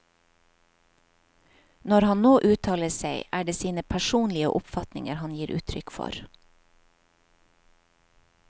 Når han nå uttaler seg, er det sine personlige oppfatninger han gir uttrykk for.